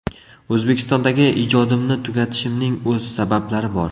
O‘zbekistondagi ijodimni tugatishimning o‘z sabablari bor.